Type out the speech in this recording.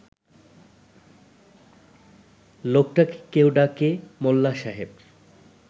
লোকটাকে কেউ ডাকে মোল্লা সাহেব